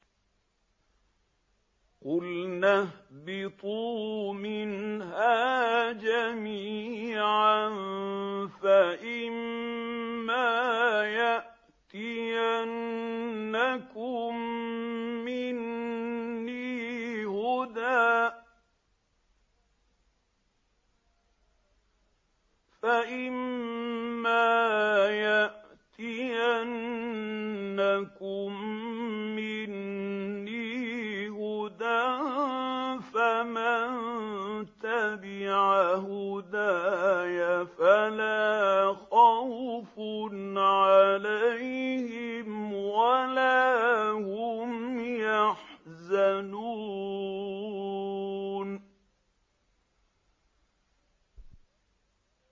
قُلْنَا اهْبِطُوا مِنْهَا جَمِيعًا ۖ فَإِمَّا يَأْتِيَنَّكُم مِّنِّي هُدًى فَمَن تَبِعَ هُدَايَ فَلَا خَوْفٌ عَلَيْهِمْ وَلَا هُمْ يَحْزَنُونَ